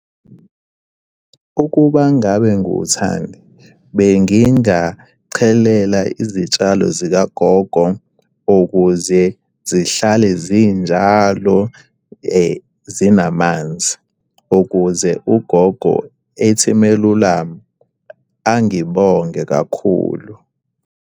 Ukuba ngabe ngiwuThandi, bengingachelela izitshalo zikagogo ukuze zihlale zinjalo zinamanzi ukuze ugogo ethi uma elulama angibonge kakhulu.